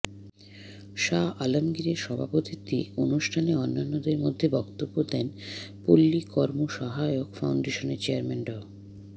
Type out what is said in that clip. শাহ আলমগীর এর সভাপতিত্বে অনুষ্ঠানে অন্যান্যের মধ্যে বক্তব্য দেন পল্লী কর্ম সহায়ক ফাউন্ডেশনের চেয়ারম্যান ড